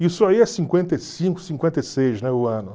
Isso aí é cinquenta e cinco, cinquenta e seis o ano.